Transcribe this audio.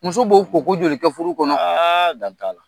Muso b'o ko ko joli kɛ furu kɔnɔ? Aaa da t'a la.